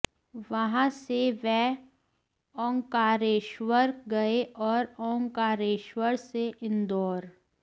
वहां से वे ओंकारेश्वर गए और ओंकारेश्वर से इंदौर